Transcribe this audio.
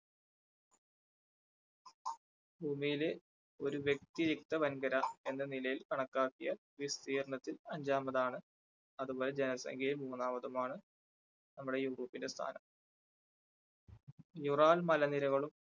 ഭൂമിയിലെ ഒരു വ്യക്തിയുക്ത വൻകര എന്ന നിലയിൽ കണക്കാക്കിയ വിസ്തീർണ്ണത്തിൽ അഞ്ചാമതാണ് അതുപോലെ ജനസംഖ്യയിൽ മൂന്നാമതും ആണ് നമ്മുടെ യൂറോപ്പിന്റെ സ്ഥാനം. ural മലനിരകളും